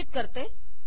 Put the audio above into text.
रक्षित करते